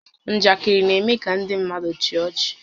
Njakịrị na-eme kà ndị mmadụ chịa ọchị